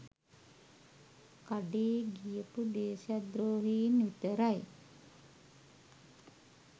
කඩේ ගියපු දේශද්‍රෝහින් විතරයි